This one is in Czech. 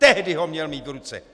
Tehdy to měl mít v ruce!